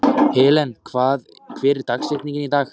Helen, hver er dagsetningin í dag?